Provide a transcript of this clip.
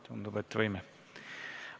Tundub, et võime.